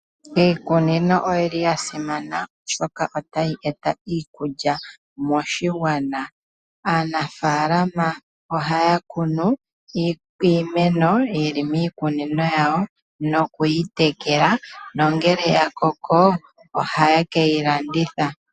Iikunino oyili yasimana oshoka otayi eta iikulya moshigwana . Aanafaalama ohaya kunu iimeno yili miikunino yawo nokuyi tekela nongele ya koko oha ye keyi landitha.